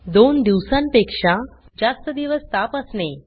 दोन दिवसांपेक्षा जास्त दिवस ताप असणे